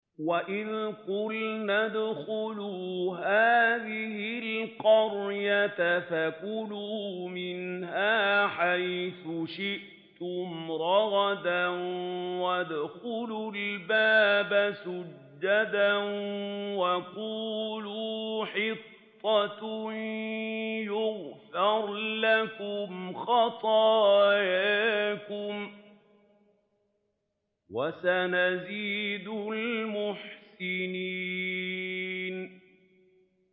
وَإِذْ قُلْنَا ادْخُلُوا هَٰذِهِ الْقَرْيَةَ فَكُلُوا مِنْهَا حَيْثُ شِئْتُمْ رَغَدًا وَادْخُلُوا الْبَابَ سُجَّدًا وَقُولُوا حِطَّةٌ نَّغْفِرْ لَكُمْ خَطَايَاكُمْ ۚ وَسَنَزِيدُ الْمُحْسِنِينَ